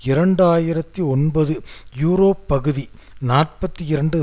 இரண்டு ஆயிரத்தி ஒன்பது யூரோ பகுதி நாற்பத்தி இரண்டு